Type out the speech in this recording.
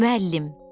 Müəllim.